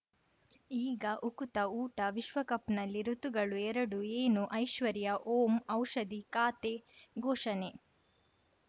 ಈಗ ಉಕುತ ಊಟ ವಿಶ್ವಕಪ್‌ನಲ್ಲಿ ಋತುಗಳು ಎರಡು ಏನು ಐಶ್ವರ್ಯಾ ಓಂ ಔಷಧಿ ಖಾತೆ ಘೋಷಣೆ